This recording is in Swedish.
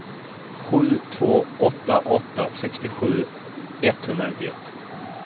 sju två åtta åtta sextiosju etthundranittioett